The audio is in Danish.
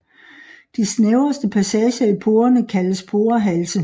De snævreste passager i porerne kaldes porehalse